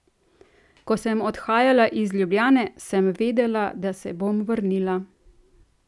Ko sem odhajala iz Ljubljane, sem vedela, da se bom vrnila.